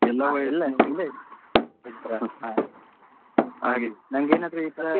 ಹಾ ಎಲ್ಲಾ ಎಲ್ಲಾ age ಈ ನವ್ರ ಇದ್ರ ಹಾ ಹಾಗೆ ನಂಗೆ ಏನಾದ್ರು ಈ ಸಲ.